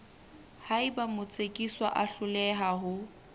haeba motsekiswa a hloleha ho